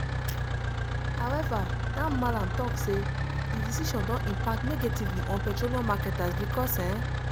however dan mallam tok say di decision don impact negatively on petroleum marketers because e